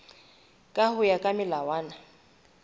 ka ho ya ka melawana